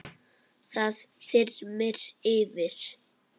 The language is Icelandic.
Það þyrmir yfir.